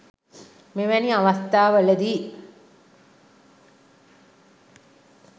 මෙවැනි අවස්ථාවල දී